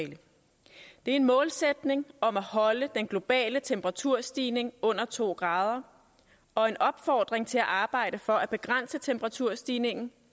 er en målsætning om at holde den globale temperaturstigning under to grader og en opfordring til at arbejde for at begrænse temperaturstigningen